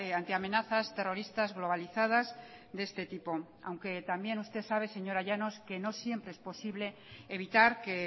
ante amenazas terroristas globalizadas de este tipo aunque también usted sabe señora llanos que no siempre es posible evitar que